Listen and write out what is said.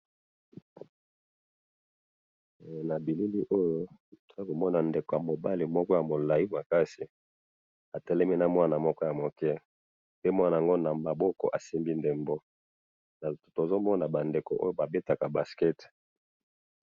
na bilili oyo tozo komona ndeko ya mobali moko ya mulayi makasi atelemi na mwana moko ya muke, pe na mwana yango nama boko asimbi ndebo tozomona ba ndeko oyo bazo kobeta basket